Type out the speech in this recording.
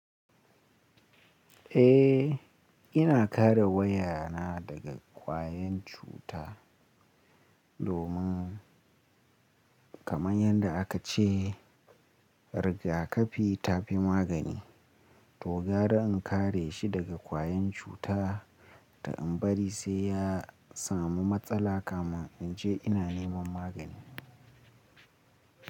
Eh, ina kare waya na daga kwayan cuta domin kamar yadda aka ce rigakafi ta fi magani. To gara in kare shi daga kwayan cuta ta in bari sai ya samu matsala kamin in je ina neman magani.